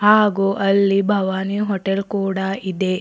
ಹಾಗೂ ಅಲ್ಲಿ ಭವಾನಿ ಹೋಟೆಲ್ ಕೂಡ ಇದೆ.